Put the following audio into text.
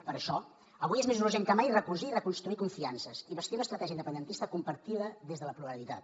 per això avui és més urgent que mai recosir i reconstruir confiances i bastir una estratègia independentista compartida des de la pluralitat